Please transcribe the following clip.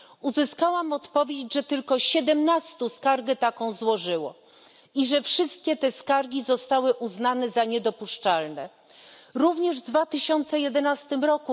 Uzyskałam odpowiedź, że tylko siedemnaście osób skargę taką złożyło i że wszystkie te skargi zostały uznane za niedopuszczalne. Również w 2011 r.,